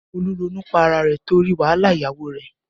Olú ronú pá ara rẹ̀ torí wàhálà ìyàwó rẹ̀